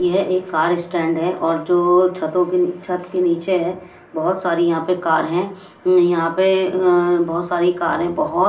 यह एक car stand है और जो छतों के छत के नीचे है बहुत सारी यहां पे कार हैं यहां पे बहुत सारी कार हैं बहुत।